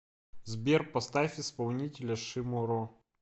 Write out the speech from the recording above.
сбер поставь исполнителя шиморо